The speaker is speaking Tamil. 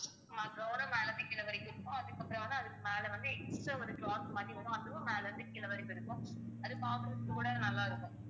சும்மா gown ம் மேல இருந்து கீழ வரைக்கும் இருக்கும் அதுக்கப்புறம் வந்து அதுக்கு மேல வந்து extra ஒரு cloth மாதிரி வரும் அதுவும் மேல இருந்து கீழே வரைக்கும் இருக்கும் அது பாக்கறதுக்கு கூட நல்லா இருக்கும்